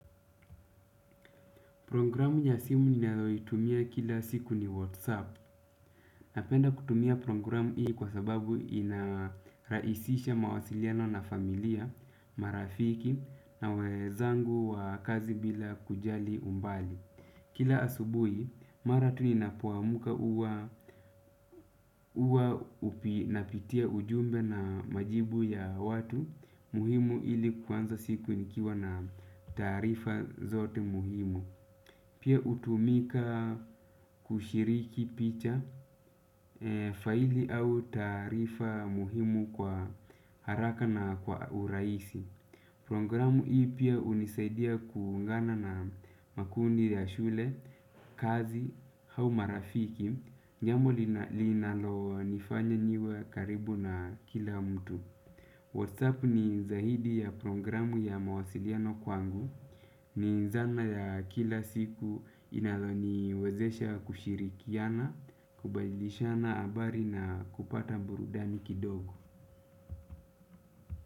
Programu ya simu ni nayoitumia kila siku ni Whatsapp. Napenda kutumia programu hii kwa sababu inaraisisha mawasiliano na familia, marafiki na wezangu wa kazi bila kujali umbali. Kila asubui mara tu ninapo amka huwa napitia ujumbe na majibu ya watu muhimu ili kuanza siku nikiwa na taarifa zote muhimu. Pia hutumika kushiriki picha, faili au taarifa muhimu kwa haraka na kwa urahisi. Programu hii pia hunisaidia kuungana na makundi ya shule, kazi, au marafiki. Jambo linalonifanya niwe karibu na kila mtu. WhatsApp ni zaidi ya programu ya mawasiliano kwangu. Ni zana ya kila siku inayoniwezesha kushirikiana, kubadilishana habari na kupata burudani kidogo.